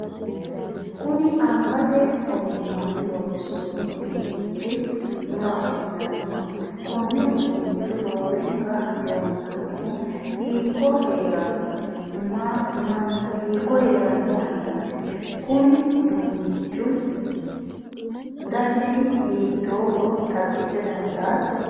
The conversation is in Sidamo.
kuni angate ogimmanni loonsoonni uduunnichi maati yinanniniho? konne uduunnicho roorenka loosannohu hiikko heeranno mannaati? konni uduunnichihu danisi hiittoohoro xawisa dandaatto?